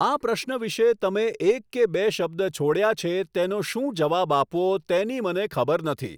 આ પ્રશ્ન વિષે તમે એક કે બે શબ્દ છોડ્યા છે તેનો શું જવાબ આપવો તેની મને ખબર નથી